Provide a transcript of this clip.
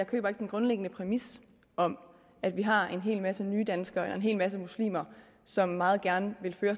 køber den grundlæggende præmis om at vi har en hel masse nydanskere og en hel masse muslimer som meget gerne vil føre